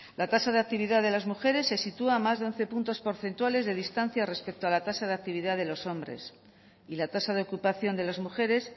la tasa de actividad de las mujeres se sitúa a más de once puntos porcentuales de distancia respecto a la tasa de actividad de los hombres y la tasa de ocupación de las mujeres